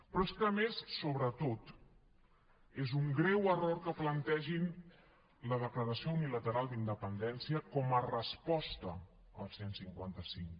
però és que a més sobretot és un greu error que plantegin la declaració unilateral d’independència com a resposta al cent i cinquanta cinc